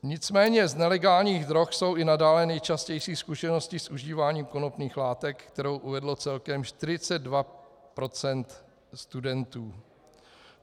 Nicméně z nelegálních drog jsou i nadále nejčastější zkušenosti s užíváním konopných látek, kterou uvedlo celkem 42 % studentů.